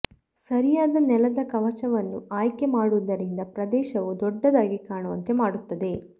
ಸರಿಯಾದ ನೆಲದ ಕವಚವನ್ನು ಆಯ್ಕೆ ಮಾಡುವುದರಿಂದ ಪ್ರದೇಶವು ದೊಡ್ಡದಾಗಿ ಕಾಣುವಂತೆ ಮಾಡುತ್ತದೆ